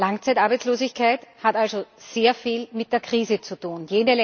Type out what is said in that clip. Langzeitarbeitslosigkeit hat also sehr viel mit der Krise zu tun.